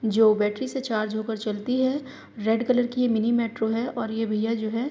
जो बैट्री से चार्ज होकर चलती है रेड कलर की मिनी मेट्रो है और ये भैया जो है --